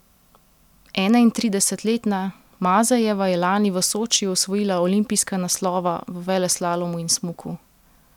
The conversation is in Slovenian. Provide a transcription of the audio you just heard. Enaintridesetletna Mazejeva je lani v Sočiju osvojila olimpijska naslova v veleslalomu in smuku.